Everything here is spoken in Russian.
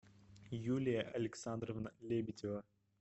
юлия александровна лебедева